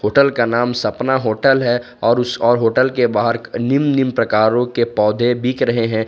Hotel का नाम Sapna hotel है और उस और होटल के बाहर निम निम प्रकारों के पौधे बिक रहे हैं।